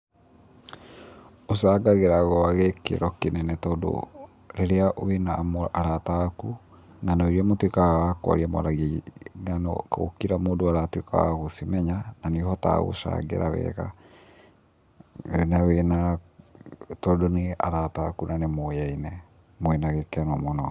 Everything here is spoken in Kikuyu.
Ũcangagĩra gwa gĩkĩro kĩnene tondũ rĩrĩa wĩna arata aku, ngano iria mũtuĩkaga a kwaria mwaragia ng'ano o kila mũndũ aratuĩka wa gũcimenya, na nĩ ũhotaga gũcangĩra wega, na wĩna, tondũ nĩ arata aku na nĩ mũyaine mwĩna gĩkeno mũno.